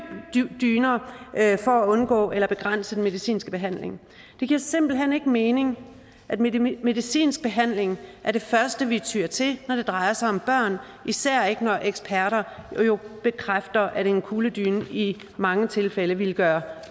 dyner for at undgå eller begrænse den medicinske behandling det giver simpelt hen ikke mening at mening at medicinsk behandling er det første vi tyr til når det drejer sig om børn især ikke når eksperter bekræfter at en kugledyne i mange tilfælde ville gøre